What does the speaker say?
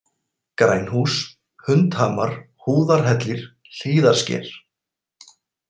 Grænhús, Hundhamar, Húðarhellir, Hlíðarsker